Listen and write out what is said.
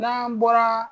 N'an bɔra